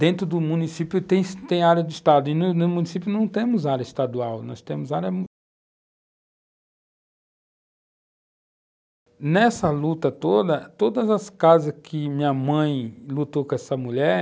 Dentro do município tem tem área de estado e no município não temos área estadual, nós temos área...